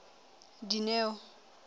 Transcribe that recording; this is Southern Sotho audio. dineo